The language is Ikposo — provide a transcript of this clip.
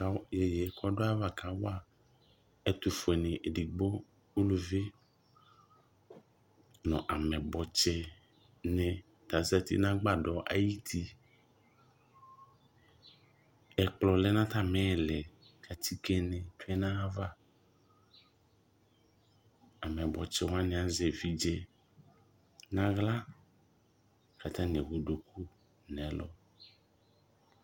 Tʋ iyeye kʋ ɔdʋ ayava kawa ɛtʋfue ni ɛdigbo, uluvi nʋ amɛyibɔ tsi ni ta azati nʋ agbadɔ ayiti Ɛkplɔ lɛ nʋ atami ili kʋ atike ni tsue nayava Amɛyibɔ tsi wani azɛ evidze nʋ aɣla kʋ atani ewu duku nɛlʋ